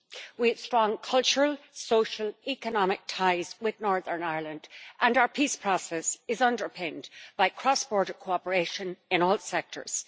We have strong cultural, social, economic ties with Northern Ireland, and our peace process is underpinned by cross border cooperation in all sectors.